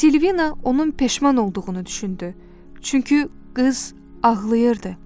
Silvina onun peşman olduğunu düşündü, çünki qız ağlayırdı.